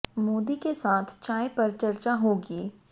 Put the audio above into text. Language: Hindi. मोदी के साथ चाय पर चर्चा होगी